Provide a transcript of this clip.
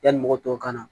Yanni mɔgɔ tɔw kana